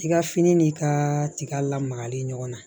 I ka fini n'i ka tiga lamagalen ɲɔgɔn na